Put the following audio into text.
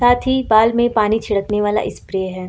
साथ ही बाल में पानी छिड़कने वाला स्प्रे है।